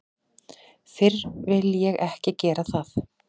Fyrr vil ég ekki gera það.